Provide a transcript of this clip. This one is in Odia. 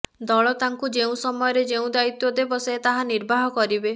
ଦଳ ତାଙ୍କୁ ଯେଉଁ ସମୟରେ ଯେଉଁ ଦାୟିତ୍ୱ ଦେବ ସେ ତାହା ନିର୍ବାହ କରିବେ